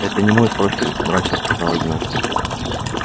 это не мой профиль мрачно сказал игнат